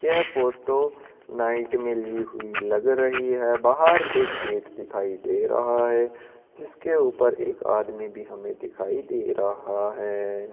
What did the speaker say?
यह photo night मे ली हुई लग रही है बाहर एक गेट दिखाई दे रहा है जिसके ऊपर एक आदमी भी हमें दिखाई दे रहा है।